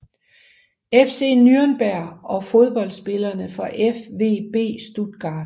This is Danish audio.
FC Nürnberg Fodboldspillere fra VfB Stuttgart